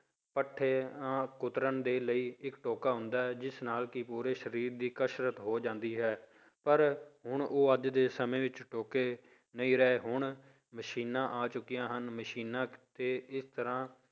ਪੱਠਿਆਂ ਕੁਤਰਨ ਦੇ ਲਈ ਇੱਕ ਟੋਕਾ ਹੁੰਦਾ ਹੈ ਜਿਸ ਨਾਲ ਕਿ ਪੂਰੇ ਸਰੀਰ ਦੀ ਕਸ਼ਰਤ ਹੋ ਜਾਂਦੀ ਹੈ ਪਰ ਹੁਣ ਉਹ ਅੱਜ ਦੇ ਸਮੇਂ ਵਿੱਚ ਟੋਕੇ ਨਹੀਂ ਰਹੇ ਹੁਣ ਮਸ਼ੀਨਾਂ ਆ ਚੁੱਕੀਆਂ ਹਨ ਮਸ਼ੀਨਾਂ ਤੇ ਇੱਕ ਤਰ੍ਹਾਂ